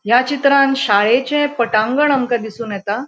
या चित्रान शाळेचे पटांगण आमका दिसोन येता.